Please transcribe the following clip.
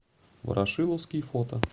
ворошиловский фото